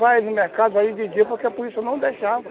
Vai no mercado, vai de dia, porque a polícia não deixava.